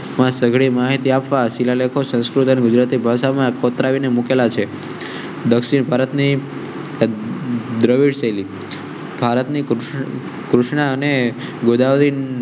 સઘળી માહિતી આપવા શિલાલેખો, સંસ્કૃત અને ગુજરાતી ભાષા માં કોતરા મુખ્ય છે. દક્ષિણ ભારતની વિવિધ શૈલી ભારતની કૃષ્ણને ગોદાવરી